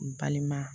N balima